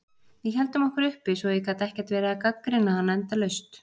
Við héldum okkur uppi svo ég get ekkert verið að gagnrýna hann endalaust.